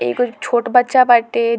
एगो छोट बच्चा बाटे --